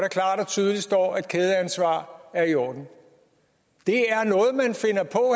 tydeligt står at kædeansvar er i orden det